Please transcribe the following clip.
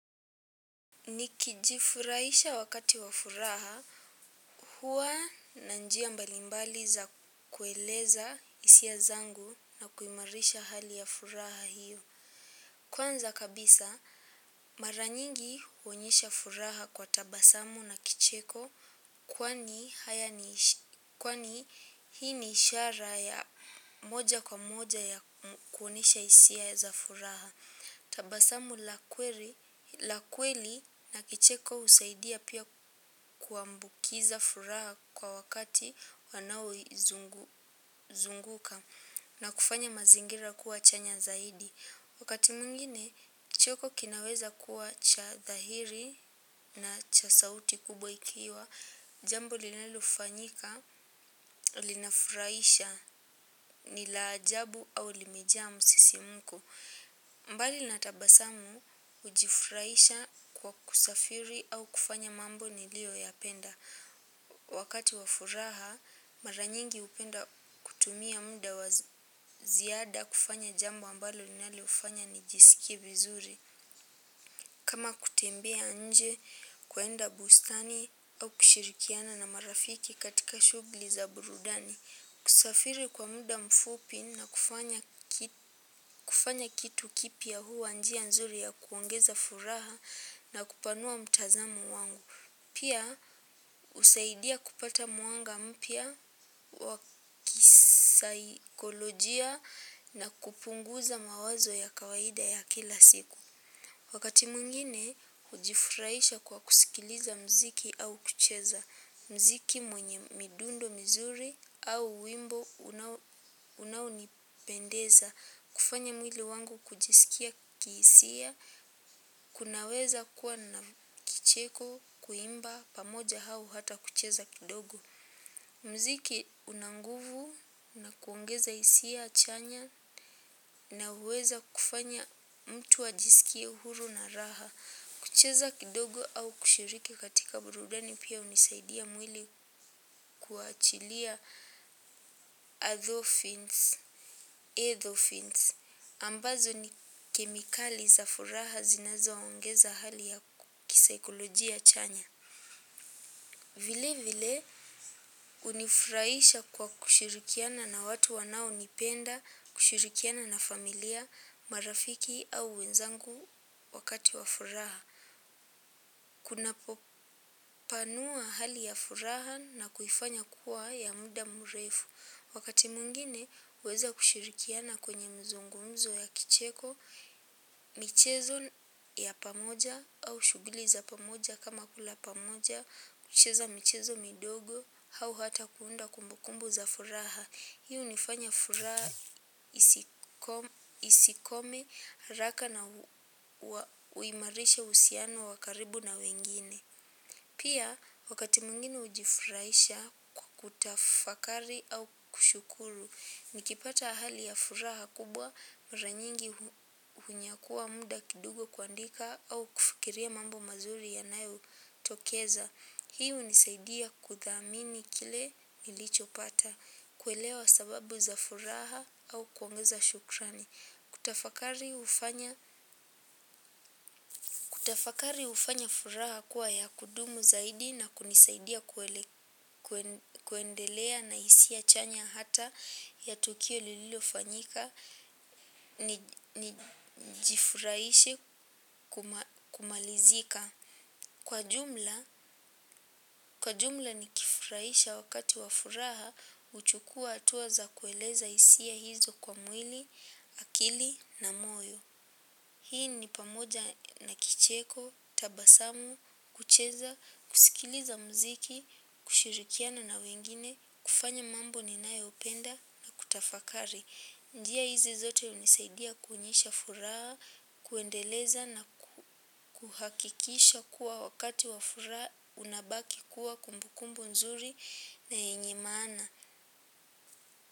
Nikijifurahisha wakati wa furaha huwa na njia mbalimbali za kueleza hisia zangu na kuimarisha hali ya furaha hio. Kwanza kabisa mara nyingi huonyesha furaha kwa tabasamu na kicheko. Kwani hii ni ishara ya moja kwa moja ya kuonyesha hisia za furaha. Tabasamu la kweli na kicheko husaidia pia kuambukiza furaha kwa wakati wanaoizunguka na kufanya mazingira kuwa chanya zaidi. Wakati mwingine, cheko kinaweza kuwa cha dhahiri na cha sauti kubwa ikiwa jambo linalofanyika, linafurahisha, ni la ajabu au limejaa msisimko. Mbali na tabasamu hujifurahisha kwa kusafiri au kufanya mambo niliyoyapenda. Wakati wa furaha mara nyingi hupenda kutumia muda wa ziada kufanya jambo ambalo linalofanya ni nijisikie vizuri. Kama kutembea nje, kuenda bustani au kushirikiana na marafiki katika shughuli za burudani. Kusafiri kwa muda mfupi na kufanya kitu kipya huwa njia nzuri ya kuongeza furaha na kupanua mtazamo wangu. Pia husaidia kupata mwanga mpya wa kisaikolojia na kupunguza mawazo ya kawaida ya kila siku. Wakati mwingine, hujifurahisha kwa kusikiliza muziki au kucheza muziki mwenye midundo mizuri au wimbo unao unaunipendeza, kufanya mwili wangu kujisikia kihisia, kunaweza kuwa na kicheko, kuimba, pamoja au hata kucheza kidogo. Muziki una nguvu na kuongeza hisia chanya na huweza kufanya mtu ajisikie uhuru na raha. Kucheza kidogo au kushiriki katika burudani pia hunisaidia mwili kuachilia endorphins ambazo ni kemikali za furaha zinazoongeza hali ya kisaikolojia chanya. Vile vile hunifurahisha kwa kushirikiana na watu wanaonipenda, kushirikiana na familia, marafiki au wenzangu wakati wa furaha. Kunapopanua hali ya furaha na kuifanya kuwa ya muda mrefu. Wakati mwingine, huweza kushirikiana kwenye mazungumzo ya kicheko, michezo ya pamoja au shughuli za pamoja kama kula pamoja, kucheza michezo midogo, au hata kuunda kumbukumbu za furaha. Hii hunifanya furaha isikome haraka na huimarisha uhusiano wa karibu na wengine. Pia, wakati mwingine hujifurahisha kwa kutafakari au kushukuru, nikipata hali ya furaha kubwa mara nyingi hunyakua muda kidigo kuandika au kufikiria mambo mazuri yanayotokeza. Hii hunisaidia kuthamini kile nilichopata, kuelewa sababu za furaha au kuongeza shukrani. Kutafakari hufanya furaha kuwa ya kudumu zaidi na kunisaidia kuendelea na hisia chanya hata ya tukio lililofanyika, nijifurahishe kumalizika. Kwa jumla kwa jumla nikifurahisha wakati wa furaha huchukua hatuwa za kueleza hisia hizo kwa mwili, akili na moyo. Hii ni pamoja na kicheko, tabasamu, kucheza, kusikiliza muziki, kushirikiana na wengine, kufanya mambo ninayopenda na kutafakari. Njia hizi zote hunisaidia kounyisha furaha, kuendeleza na kuhakikisha kuwa wakati wa furaha unabaki kuwa kumbukumbu nzuri na yenye maana.